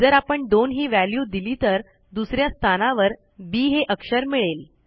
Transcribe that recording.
जर आपण 2ही व्हॅल्यू दिली तर दुस या स्थानावर बी हे अक्षर मिळेल